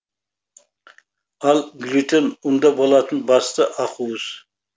ал глютен ұнда болатын басты ақуыз